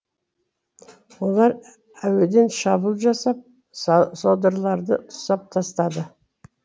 олар әуеден шабуыл жасап содырларды тұсап тастады